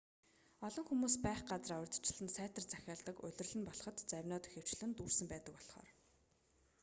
олон хүмүүс байх газраа урьдчилан сайтар захиалдаг улирал нь болход завинууд ихэвчлэн дүүрсэн байдаг болхоор